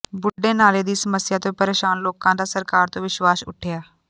ਬੁੱਢੇ ਨਾਲੇ ਦੀ ਸਮੱਸਿਆ ਤੋਂ ਪਰੇਸ਼ਾਨ ਲੋਕਾਂ ਦਾ ਸਰਕਾਰ ਤੋਂ ਵਿਸ਼ਵਾਸ ਉੱਠਿਆ